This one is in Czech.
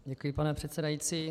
Děkuji, pane předsedající.